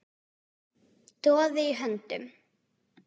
Doði í höndum